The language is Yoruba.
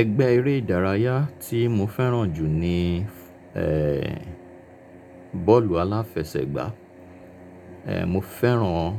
Ẹgbẹ́ eré ìdárayá tí mo fẹ́ràn jù ni, ẹ, bọ́ọ̀lù aláfẹsẹ̀gbá. E Mo fẹ́ràn